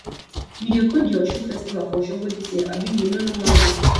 you dey go di osun festival for osogbo dis year abi you no no wan go